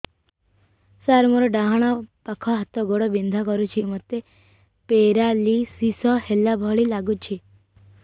ସାର ମୋର ଡାହାଣ ପାଖ ହାତ ଗୋଡ଼ ବିନ୍ଧା କରୁଛି ମୋତେ ପେରାଲିଶିଶ ହେଲା ଭଳି ଲାଗୁଛି